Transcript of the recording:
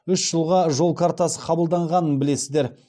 үш жылға жол картасы қабылданғанын білесіздер